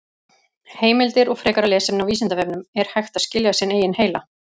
Heimildir og frekara lesefni á Vísindavefnum: Er hægt að skilja sinn eigin heila?